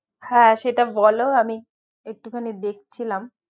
হ্যাঁ সেটা বলো আমি একটু খানি দেখ ছিলাম